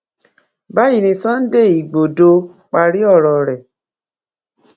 báyìí ni sunday igbodò parí ọrọ rẹ